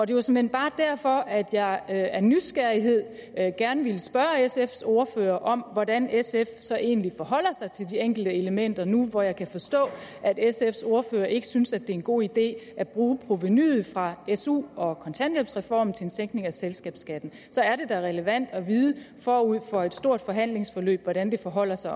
det var såmænd bare derfor jeg af nysgerrighed gerne ville spørge sfs ordfører om hvordan sf så egentlig forholder sig til de enkelte elementer nu hvor jeg kan forstå at sfs ordfører ikke synes at det er en god idé at bruge provenuet fra su og kontanthjælpsreform til en sænkning af selskabsskatten så er det da relevant at vide forud for et stort forhandlingsforløb hvordan det forholder sig